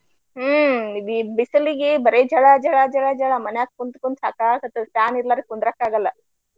ಹ್ಮ ಇದ ಈಗ ಬಿಸಿಲಿಗೆ ಬರೆ ಝಳಾ, ಝಳಾ, ಝಳಾ, ಝಳಾ ಮನ್ಯಾಗ ಕುಂತ ಕುಂತ ಸಾಕಾಗಾಕತೈತಿ fan ಇರಲಾರ್ದೆ ಕುಂದ್ರಾಕ ಆಗಲ್ಲ.